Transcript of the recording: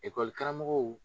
karamɔgɔw